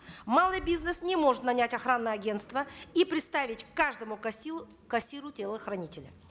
малый бизнес не может нанять охранное агентство и приставить к каждому кассиру телохранителя